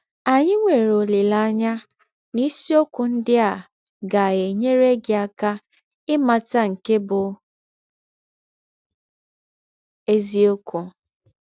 Anyị nwere ọlileanya na isiọkwụ ndị a ga - enyere gị aka ịmata nke bụ́ eziọkwụ.